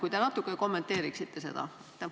Kui te natuke kommenteeriksite seda?